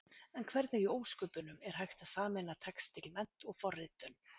En hvernig í ósköpunum, er hægt að sameina textílmennt og forritun?